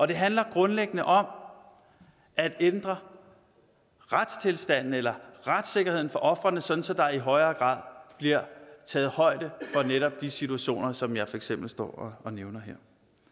det handler grundlæggende om at ændre retstilstanden eller retssikkerheden for ofrene så så der i højere grad bliver taget højde for netop de situationer som jeg for eksempel står og nævner her